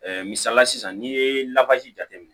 misaliya la sisan n'i ye lawaji jate minɛ